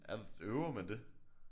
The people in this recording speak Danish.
Er der øver man det?